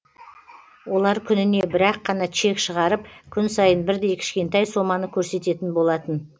олар күніне бір ақ қана чек шығарып күн сайын бірдей кішкентай соманы көрсететін болатын